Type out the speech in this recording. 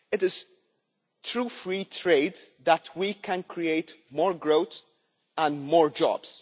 It is through free trade that we can create more growth and more jobs.